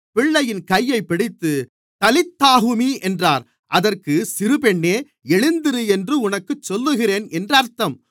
பிள்ளையின் கையைப் பிடித்து தலீத்தாகூமி என்றார் அதற்கு சிறுபெண்ணே எழுந்திரு என்று உனக்குச் சொல்லுகிறேன் என்று அர்த்தம்